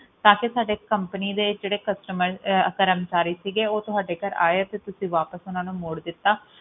ਤਾਂਕਿ ਜਿਹੜੇ ਸਾਡੀ company ਦੇ ਜਿਹੜੇ ਕਰਮਚਾਰੀ ਸੀਗੇ ਉਹ ਤੁਹਾਡੇ ਘਰ ਆਏ ਅਤੇ ਤੁਸੀਂ ਵਾਪਸ ਓਹਨਾ ਨੂੰ ਮੋੜ ਦਿੱਤੋ